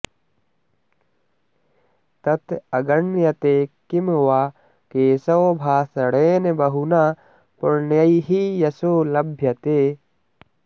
तत् अगण्यते किम् वा केशव भाषणेन बहुना पुण्यैः यशो लभ्यते